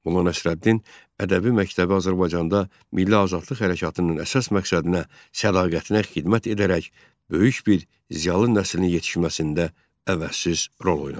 Molla Nəsrəddin ədəbi məktəbi Azərbaycanda Milli Azadlıq Hərəkatının əsas məqsədinə sədaqətinə xidmət edərək, böyük bir ziyalı nəslin yetişməsində əvəzsiz rol oynadı.